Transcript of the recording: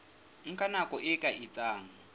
nka nako e ka etsang